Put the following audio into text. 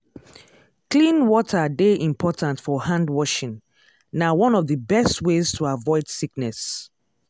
clean water dey important for handwashing—na one of the best ways to avoid sickness.